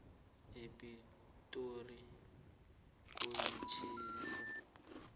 epitori kuyatjhisa